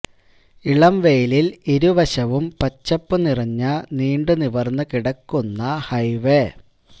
ഇളം വെയിലില് ഇരുവശവും പച്ചപ്പു നിറഞ്ഞ നീണ്ടു നിവര്ന്നു കിടക്കുന്ന ഹൈവേ